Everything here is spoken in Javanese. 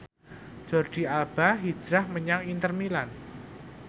Jordi Alba hijrah menyang Inter Milan